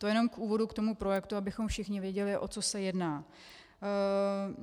To jenom k úvodu k tomu projektu, abychom všichni věděli, o co se jedná.